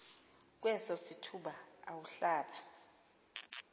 kweso sithuba awuhlaba